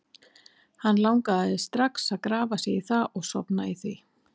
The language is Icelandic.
Hann langaði strax að grafa sig í það og sofna í því.